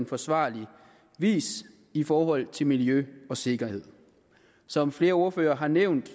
forsvarlig vis i forhold til miljø og sikkerhed som flere ordførere har nævnt